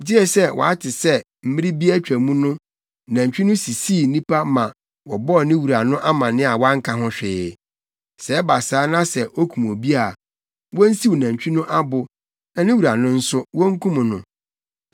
gye sɛ wɔate sɛ mmere bi a atwa mu no, nantwi no sisii nnipa ma wɔbɔɔ ne wura no amanneɛ a wanka ho hwee; sɛ ɛba saa na sɛ okum obi a, wonsiw nantwi no abo na ne wura no nso, wonkum no.